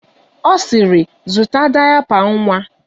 Ọ sịrị, zụta dayapa nwa!